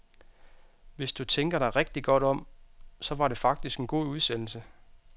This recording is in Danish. Hvis du tænker dig rigtig godt om, så var det faktisk en god udsendelse.